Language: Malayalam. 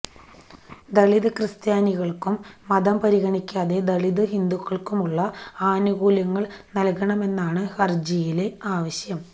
ദലിത് ക്രിസ്ത്യാനികള്ക്കും മതം പരിഗണിക്കാതെ ദലിത് ഹിന്ദുക്കള്ക്കുളള ആനുകൂല്യങ്ങള് നല്കണമെന്നാണ് ഹരജിയിലെ ആവശ്യം